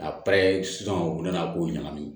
A sisan u nana k'o ɲagami